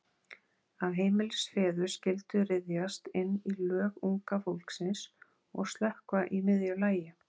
Að heimilisfeður skyldu ryðjast inn í Lög Unga Fólksins og slökkva í miðju lagi.